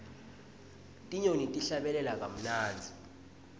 tinyoni tihlabelela kamunandzi